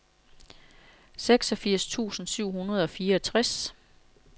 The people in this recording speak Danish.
seksogfirs tusind syv hundrede og fireogtres